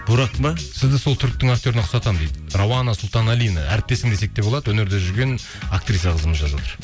бурак па сізді сол түріктің актеріне ұқсатамын дейді рауана сұлтаналина әріптесің десек те болады өнерде жүрген актриса қызымыз жазып отыр